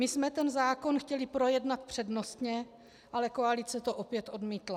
My jsme tento zákon chtěli projednat přednostně, ale koalice to opět odmítla.